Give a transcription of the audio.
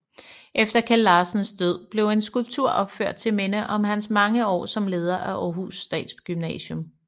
Efter Keld Larsens død blev en skulptur opført til minde om hans mange år som leder af Århus Statsgymnasium